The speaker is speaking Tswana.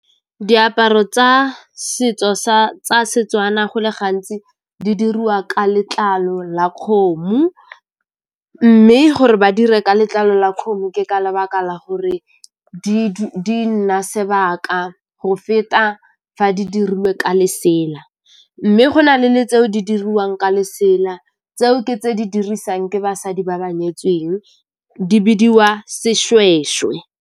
Diaparo tsa setso tsa Setswana go le gantsi di diriwa ka letlalo la kgomo mme gore ba dire ka letlalo la kgomo ke ka lebaka la gore di nna sebaka go feta fa di dirilwe ka lesela. Mme go nale le tseo di diriwang ka lesela, tseo ke tse di dirisang ke basadi ba ba nyetsweng di bidiwa Sešwešwe.